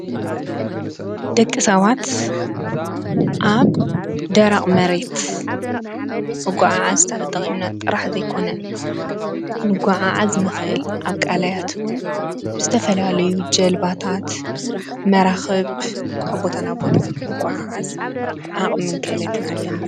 ደቂ ሰባት አብ ደረቅ መሬት ምጉዕዓዝ ተጠቂምና ጥራሕ ዘይኮነ ክንጉዓዓዝ ንክእል አብ ቃላያት እውን ብዝተፈላለዩ ጀልባታት መራክብ ካብ ቦታ ናብ ቦታ ምጉዕዓዝ ዓቅምን ክእለትን አለና።